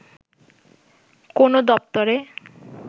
কোনো দপ্তরে